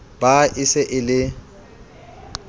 ba e se e le